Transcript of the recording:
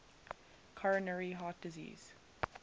coronary heart disease